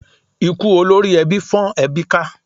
Ikú olórí ẹbí fọ́n ẹbí ká.